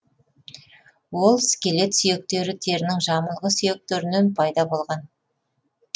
ол скелет сүйектері терінің жамылғы сүйектерінен пайда болған